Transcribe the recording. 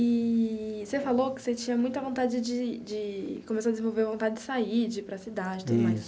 Eee você falou que você tinha muita vontade de de começou a desenvolver vontade de sair de ir para a cidade tudo mais.